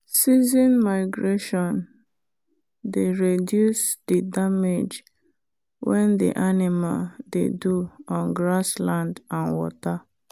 season migration dey reduced the damage when the animal dey do on grass land and water.